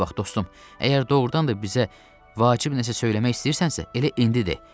Bura bax dostum, əgər doğurdan da bizə vacib nəsə söyləmək istəyirsənsə, elə indi de.